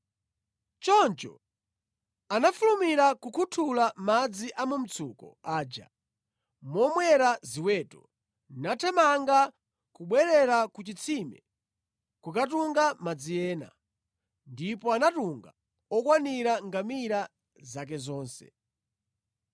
Choncho anafulumira kukhuthula madzi a mu mtsuko aja momwera ziweto, nathamanga kubwerera ku chitsime kukatunga madzi ena, ndipo anatunga okwanira ngamira zake zonse.